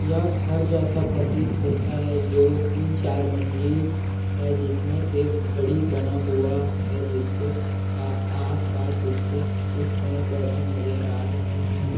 यह घर जैसा प्रतीत होता है जो तीन चार मंजिल है जिसमें एक घड़ी बना हुआ है जिसके आ आसपास इसके कुछ पेड़-पौधे नज़र आ रहे है।